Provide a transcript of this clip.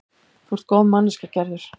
Þú ert góð manneskja, Gerður.